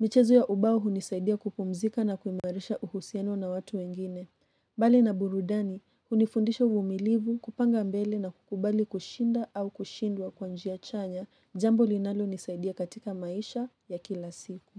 Michezo ya ubao hunisaidia kupumzika na kuimarisha uhusiano na watu wengine bali na burudani, hunifundisha uvumilivu kupanga mbele na kukubali kushinda au kushindwa kwa njia chanya, jambo linalo nisaidia katika maisha ya kila siku.